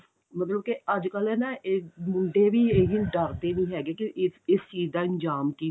ਮਤਲਬ ਅੱਜਕਲ ਨਾ ਇਹ ਮੁੰਡੇ ਵੀ ਇਹ ਡਰਦੇ ਨੀ ਹੈਗੇ ਕਿ ਇਸ ਇਸ ਚੀਜ਼ ਦਾ ਅੰਜਾਮ ਕੀ